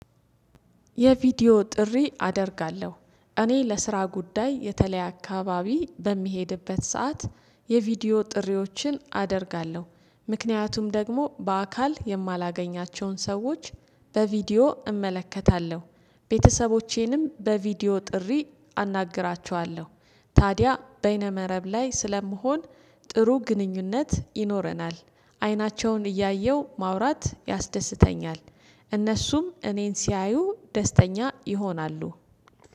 የቪዲዮ ጥሪ አደርጋለሁ እኔ ለስራ ጉዳይ የተለያየ አካባቢ በሚሄድበት ሰዓት የቪዲዮ ጥሪዎችን አደርጋለሁ ምክንያቱም ደግሞ በአካል የማላገኛቸውን ሰዎች በቪዲዮ እመለከታለሁ ቤተሰቦቼንም በቪዲዮ ጥሪ አናግራቸዋለሁ። ታዲያ በይነ መረብ ላይ ስለምሆን ጥሩ ግንኙነት ይኖረናል። አይናቸውን እያየው ማውራት ያስደስተኛል። እነሱም እኔን ሲያዩ ደስተኛ ይሆናሉ